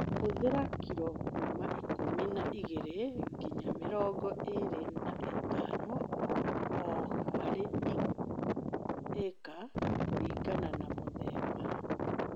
Hũthĩra kilo kuma ikũmi na igĩli nginya mĩrongo ĩlĩ na ithano o harĩ ĩka kũlingana na mũthemba